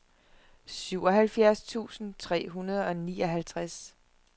syvoghalvfjerds tusind tre hundrede og nioghalvtreds